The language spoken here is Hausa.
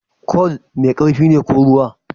Kwal mai ƙarfi ne ko ruwa?